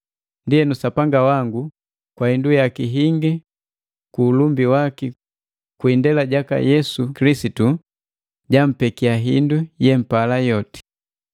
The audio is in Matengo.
Ndienu Sapanga wangu, kwa hindu yaki hingi ku ulumbi waki kwi indela jaka Yesu Kilisitu, jampekia hindu yempala yoti.